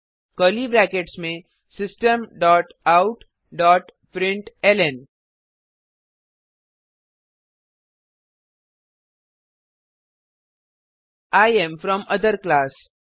curly brackets में system dot out dot println I am from other class